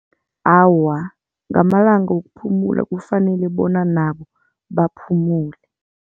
Awa, ngamalanga wokuphumula kufanele bona nabo baphumule.